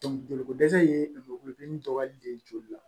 joli ko dɛsɛ ye lomuru gunin dɔgɔyali de ye joli la